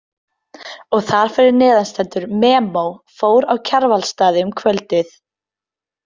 Og þar fyrir neðan stendur MEMO Fór á Kjarvalsstaði um kvöldið.